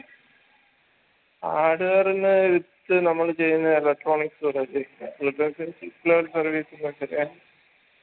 hardware ന്ന് ച്ച് നമ്മള് ചെയ്യുന്ന electronic service